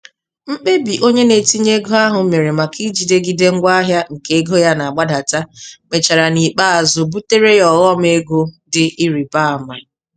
Mkpebi onye na-etinye ego ahụ mere maka ijidegide ngwaahịa nke ego ya na-agbadata, mechara n'ikpeazụ butere ya ọghọm ego dị ịrị ba mma.